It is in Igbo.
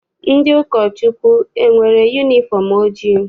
Ndị ụkọchukwu enwere yunifọm ojii?